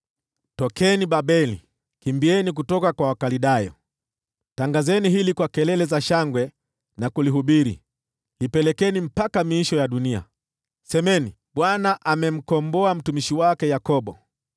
Tokeni huko Babeli, kimbieni kutoka kwa Wakaldayo! Tangazeni hili kwa kelele za shangwe na kulihubiri. Lipelekeni mpaka miisho ya dunia; semeni, “ Bwana amemkomboa mtumishi wake Yakobo.”